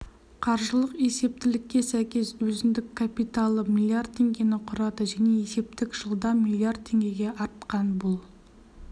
қаржылық есептілікке сәйкес өзіндік капиталы млрд теңгені құрады және есептік жылда млрд теңгеге артқан бұл